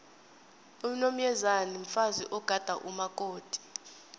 unomyezane mfazi ogada umakoti